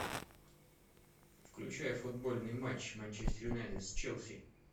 включай футбольный матч манчестер юнайтед с челси